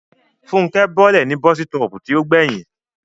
Fúnkẹ́ bọ́lẹ̀ ní bọ́sítọ̀ọ̀pù tí ó gbẹ̀yìn